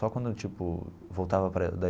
Só quando eu, tipo, voltava para, da.